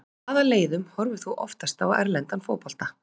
Með hvaða leiðum horfir þú oftast á erlendan fótbolta?